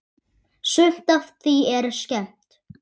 Sumt af því er skemmt.